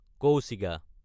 কৌশিগা